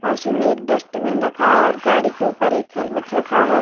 पास ही में एक डस्टबिन रखा है और गाड़ी के ऊपर एक हेलमेट रखा है।